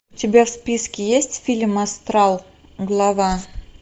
у тебя в списке есть фильм астрал глава